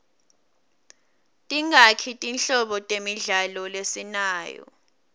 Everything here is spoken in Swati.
tingaki tinhlobo temidlalo lesinayo